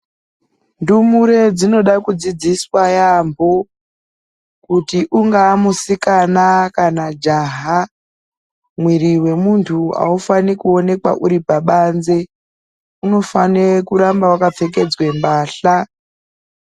Ndumure dzinode kudzidziswa yambo kuti ungave musikana kana jaha mwiri wemuntu aufaniri kuwonekwa uri pabanze unofanire kurambe wakapfekedzwe pahla.